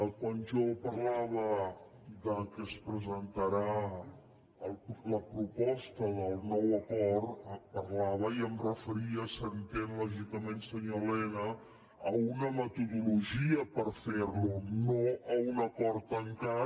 quan jo parlava que es presentarà la proposta del nou acord parlava i em referia s’entén lògicament senyor elena a una metodologia per fer lo no a un acord tancat